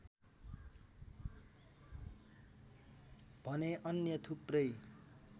भने अन्य थुप्रै